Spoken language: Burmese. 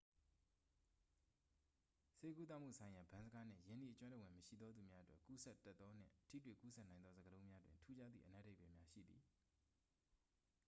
ဆေးကုသမှုဆိုင်ရာ ဗန်းစကားနှင့် ရင်းနှီးအကျွမ်းတဝင်မရှိသောသူများအတွက် ကူးစက်တတ်သော နှင့် ထိတွေ့ကူးစက်နိုင်သော စကားလုံးများတွင် ထူးခြားသည့် အနက်အဓိပ္ပာယ်များရှိသည်